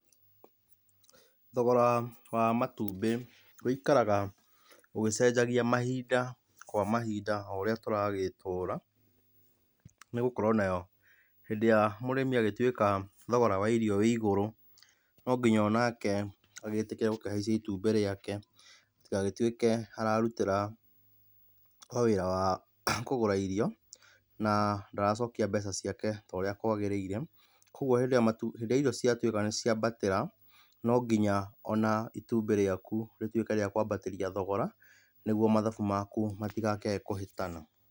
Thogora wa matumbĩ waikaraga ũgĩcenjagia mahinda kwa mahinda o ũrĩa tũragĩtũra, nĩgũkorwo nayo hĩndĩ ĩrĩa mũrĩmĩ agĩtuĩka thogora wa irio wĩ ĩgũrũ, no nginya onake agĩtĩkĩrĩe gũkĩhaicia itumbĩ rĩake, gũtigagĩtũike ararũtira o wĩra wa kũgũra irio na ndaracokia mbeca ciake torĩa kwagĩrĩire, kogwo hĩndĩ ĩria irio ciatũika nĩ ciambatĩra no ngĩnya ona itumbĩ riaku rĩtuike rĩa kwambataria thogora nĩguo mathabu maku matĩgakĩae kũhĩtana.